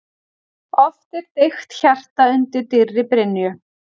Oft er deigt hjarta undir dýrri brynju.